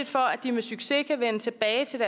for at de med succes kan vende tilbage til